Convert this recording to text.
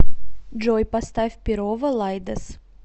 джой поставь перово лидус